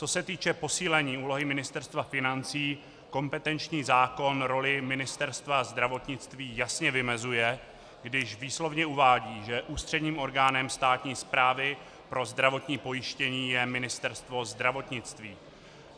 Co se týče posílení úlohy Ministerstva financí, kompetenční zákon roli Ministerstva zdravotnictví jasně vymezuje, když výslovně uvádí, že ústředním orgánem státní správy pro zdravotní pojištění je Ministerstvo zdravotnictví.